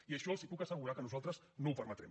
i això els puc assegurar que nosaltres no ho permetrem